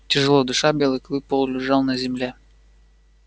тяжело дыша белый клык полулежал на земле